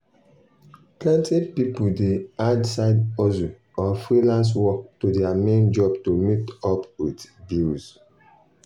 plenty people dey add side hustle or freelance work to their main job to meet up with bills.